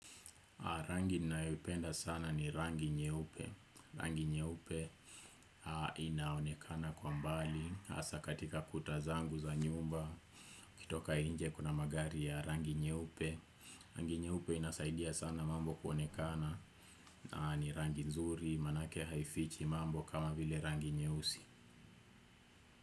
Rangi nayoipenda sana ni rangi nyeupe. Rangi nyeupe inaonekana kwa mbali. Asa katika kuta zangu za nyumba. Kitoka inje kuna magari ya rangi nyeupe. Rangi nyeupe inasaidia sana mambo kuonekana. Ni rangi nzuri manake haifichi mambo kama vile rangi nyeusi.